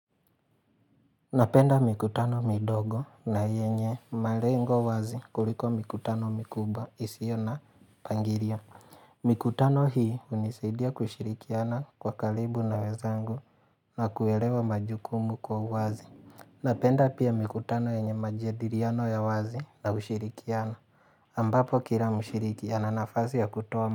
Napenda mikutano midogo na yenye malengo wazi kuliko mikutano mikubwa isio na pangilio. Mikutano hii hunisaidia kushirikiana kwa karibu na wenzangu na kuelewa majukumu kwa wazi. Napenda pia mikutano yenye majadiliano ya wazi na ushirikiana. Ambapo kila mshirikiana ana nafasi ya kutoa.